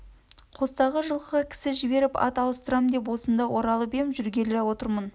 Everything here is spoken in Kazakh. қостағы жылқыға кісі жіберіп ат ауыстырам деп осында оралып ем жүргел отырмын